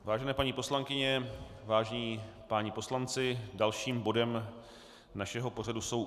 Vážené paní poslankyně, vážení páni poslanci, dalším bodem našeho pořadu jsou